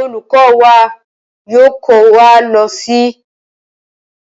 Olùkó wa yóò kó wa lo sí